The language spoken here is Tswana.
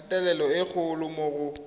kgatelelo e kgolo mo go